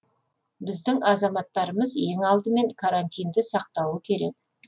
біздің азаматтарымыз ең алдымен карантинді сақтауы керек